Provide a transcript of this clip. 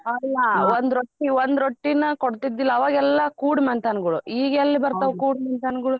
ಅಲ್ಲ ಒಂದ್ ರೊಟ್ಟಿ ಒಂದ್ ರೊಟ್ಟಿನ ಕೊಡ್ತಿದ್ದಿಲ್ಲ ಅವಗೆಲ್ಲಾ ಕೂಡ್ ಮನ್ತನಗಳು ಈಗೆಲ್ ಬರ್ತಾವು ಕೂಡ್ ಮನ್ತನ್ಗುಳು.